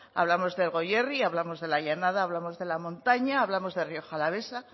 hablamos del goierri hablamos de la llanada hablamos de la montaña hablamos de rioja alavesa